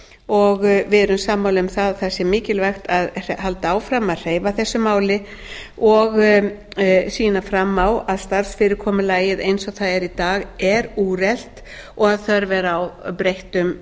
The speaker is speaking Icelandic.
og við erum sammála um að það sé mikilvægt að halda áfram að hreyfa þessu máli og sýna fram á að starfsfyrirkomulagið eins og það er í dag er úrelt og að þörf er á breyttum